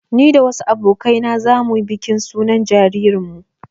Ni da wasu abokai na za mu yi bikin sunan jaririnmu